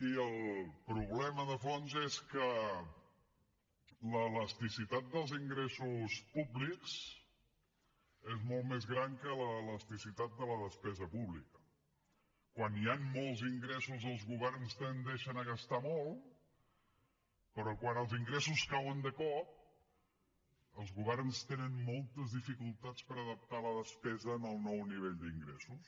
i el problema de fons és que l’elasticitat dels ingressos públics és molt més gran que l’elasticitat de la despesa pública quan hi han molts ingressos els governs tendeixen a gastar molt però quan els ingressos cauen de cop els governs tenen moltes dificultats per adaptar la despesa al nou nivell d’ingressos